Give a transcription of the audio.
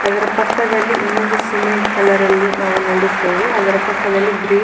ಅದರ ಪಕ್ಕದಲ್ಲಿ ಇನೊಂದು ಸಿಮೆಂಟ್ ಕಲರ್ ಅಲ್ಲಿ ನೋಡುತ್ತೇವೆ.